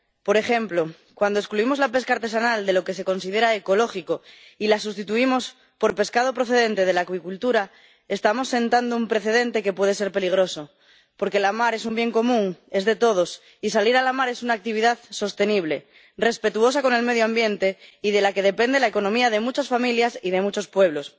Por ejemplo cuando excluimos la pesca artesanal de lo que se considera ecológico y la sustituimos por pescado procedente de la acuicultura, estamos sentando un precedente que puede ser peligroso, porque la mar es un bien común, es de todos, y salir a la mar es una actividad sostenible, respetuosa con el medio ambiente y de la que depende la economía de muchas familias y de muchos pueblos.